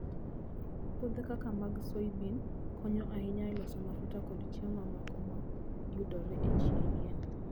Puothe kaka mag soybean konyo ahinya e loso mafuta kod chiemo mamoko ma yudore e yien.